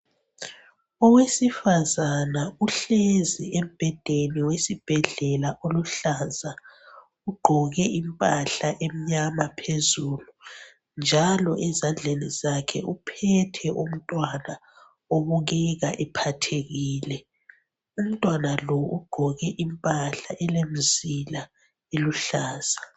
Owesifazane uhlezi embhedeni wesibhedlela oluhlaza ugqoke impahla emnyama phezulu njalo ezandleni zakhe umphethe umntwana obukeka ephathekile umntwana lo ugqoke impahla elemizila eluhlaza.